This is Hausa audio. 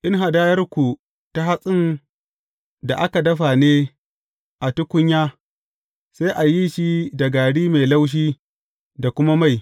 In hadayarku ta hatsin da aka dafa ne a tukunya, sai a yi shi da gari mai laushi da kuma mai.